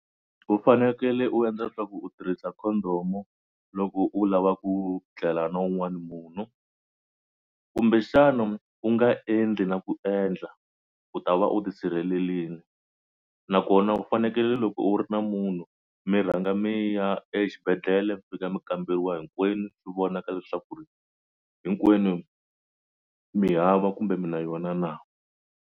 U fanekele u endla swa ku u tirhisa condom loko u lava ku tlela na un'wana munhu kumbexana u nga endli na ku endla u ta va u tisirhelelile nakona u fanekele loko u ri na munhu mi rhanga mi ya exibedhlele mi fika mi kamberiwa hinkwenu swi vonaka leswaku ri hinkwenu mi hava kumbe mi na yona na.